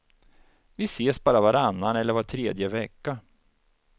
Vi ses bara varannan eller var tredje vecka.